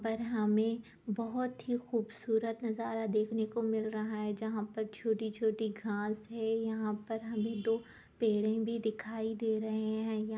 पर हमें बहुत ही खूबसूरत नजारा देखने को मिल रहा है जहाँ पर छोटी-छोटी घास है यहाँ पर हमें दो पेड़े भी दिखाई दे रहे है।